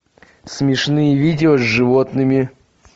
смешные видео с животными